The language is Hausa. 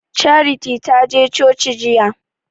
Charity ta je coci jiya